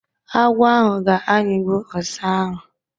Agwọ ahụ ga-ayigbụ ọsá ahu.